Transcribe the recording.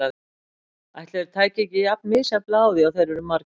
Ætli þeir tækju ekki jafn misjafnlega á því og þeir eru margir.